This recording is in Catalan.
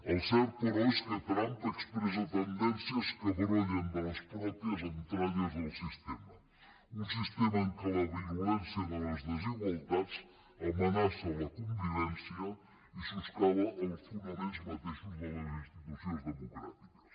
el cert però és que trump expressa tendències que brollen de les pròpies entranyes del sistema un sistema en què la virulència de les desigualtats amenaça la convivència i soscava els fonaments mateixos de les institucions democràtiques